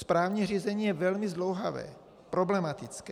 Správní řízení je velmi zdlouhavé, problematické.